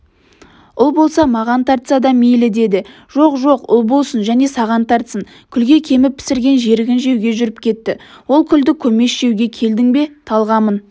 ұл болса маған тартса да мейлі деді жоқ жоқ ұл болсын және саған тартсын күлге кеміп пісірген жерігін жеуге жүріп кетті ол күлді-көмеш жеуге келдің бе талғамын